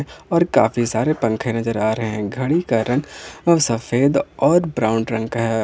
और काफी सारे पंखे नजर आ रहे हैं घड़ी रंग और सफेद और ब्राउन रंग है।